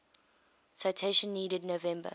citation needed november